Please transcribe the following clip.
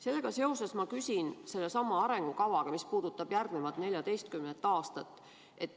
Sellega seoses ma küsin sellesama arengukava kohta, mis puudutab järgmist 14 aastat.